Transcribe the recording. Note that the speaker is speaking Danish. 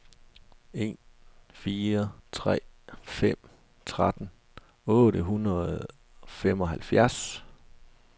en fire tre fem tretten otte hundrede og femoghalvfjerds